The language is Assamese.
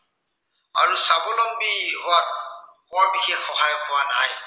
আৰু স্বাৱলম্বী হোৱাত বৰ বিশেষ সহায় হোৱা নাই।